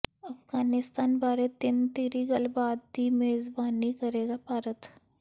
ਅਫ਼ਗਾਨਿਸਤਾਨ ਬਾਰੇ ਤਿੰਨ ਧਿਰੀ ਗੱਲਬਾਤ ਦੀ ਮੇਜ਼ਬਾਨੀ ਕਰੇਗਾ ਭਾਰਤ